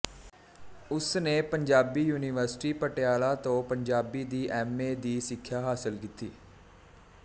ਉਸ ਨੇ ਪੰਜਾਬੀ ਯੂਨੀਵਰਸਿਟੀ ਪਟਿਆਲਾ ਤੋਂ ਪੰਜਾਬੀ ਦੀ ਐਮ ਏ ਦੀ ਸਿੱਖਿਆ ਹਾਸਲ ਕੀਤੀ